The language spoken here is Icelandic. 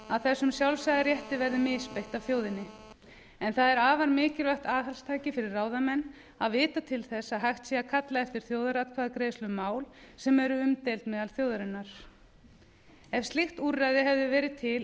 að þessum sjálfsagða rétti verði misbeitt af þjóðinni en það er afar mikilvægt aðhaldstæki fyrir ráðamenn að vita til þess að hægt sé að kalla eftir þjóðaratkvæðagreiðslu um mál sem eru umdeild meðal þjóðarinnar ef slíkt úrræði hefði verið til